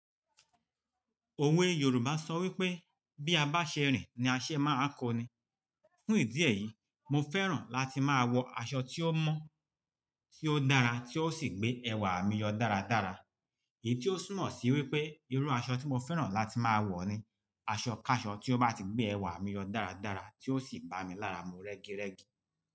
Òwe Yorùbá sọ wípé "bí a bá ṣe rìn ní a ṣe máa kọni". Fún ìdí èyí, mo fẹ́ràn láti máa wọ aṣọ tí ó mọ́, tí ó dára tí ó sì gbé ẹwà mi yọ dáradára. Èyí tí ó túnmọ̀ sí wípé irú aṣọ tí mo fẹ́ràn láti máa wọ ni aṣọkáṣọ tí ó bá ti gbé ẹwà mi yọ dáradára tí ó sì bá mi lára mú rẹ́girẹ́gi.